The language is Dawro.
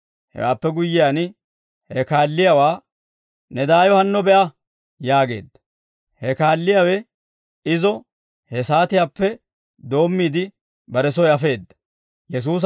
Hewaappe guyyiyaan, he kaalliyaawaa «Ne daayo hanno be'a!» yaageedda. He kaalliyaawe izo he saatiyaappe doommiide, bare soy afeedda.